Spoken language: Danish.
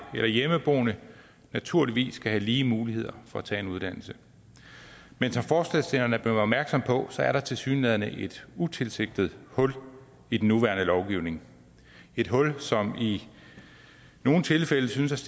og hjemmeboende naturligvis skal have lige muligheder for at tage en uddannelse men som forslagsstillerne er blevet opmærksomme på er der tilsyneladende et utilsigtet hul i den nuværende lovgivning et hul som i nogle tilfælde synes